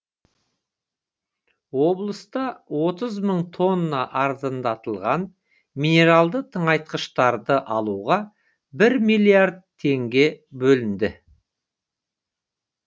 облыста отыз мың тонна арзандатылған минералды тыңайтқыштарды алуға бір миллиард теңге бөлінді